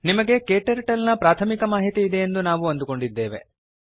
ನಿಮಗೆ Kturtleನ ಪ್ರಾಥಮಿಕ ಮಾಹಿತಿ ಇದೆಯೆಂದು ನಾವು ಅಂದುಕೊಂಡಿದ್ದೇವೆ